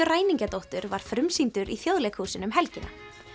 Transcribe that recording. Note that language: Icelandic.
ræningjadóttur var frumsýndur í Þjóðleikhúsinu um helgina